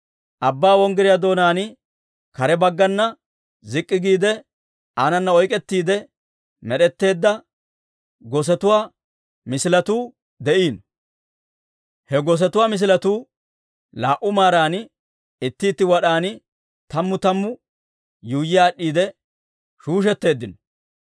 Abbaa Wonggiryaa doonaan kare baggana zik'k'i giide, aanana oyk'k'ettiide med'etteedda gosetuwaa misiletuu de'iino; he gosetuwaa misiletuu laa"u maaran, itti itti wad'an tammuu tammuu yuuyyi aad'd'iide shuushetteeddino.